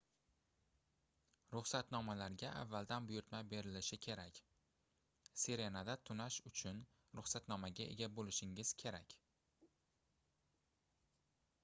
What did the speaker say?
ruxsatnomalarga avvaldan buyurtma berilishi kerak sirenada tunash uchun rusxatnomaga ega boʻlishingiz kerak